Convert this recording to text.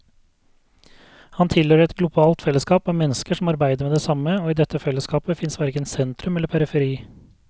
Han tilhører et globalt fellesskap av mennesker som arbeider med det samme, og i dette fellesskapet fins verken sentrum eller periferi.